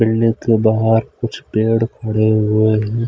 के बाहर कुछ पेड़ खड़े हुए हैं।